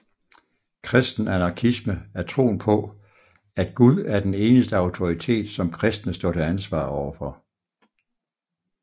Kristen anarkisme er troen på at Gud er den eneste autoritet som kristne står til ansvar overfor